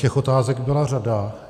Těch otázek byla řada.